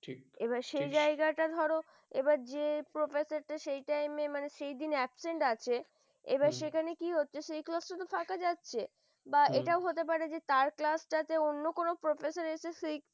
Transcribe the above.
ঠিক এবার সে জায়গাটা ধরো এবার যে professor সেই time মানে সেই দিন absent আছে এবার সেখানে কি হচ্ছে সেই class ত ফাঁকা যাচ্ছে বা হম এটা হতে পারে তার class অন্য কোন professor এসে